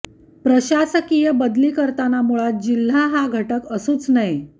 प्रशासकीय बदली करताना मुळात जिल्हा हा घटक असूच नये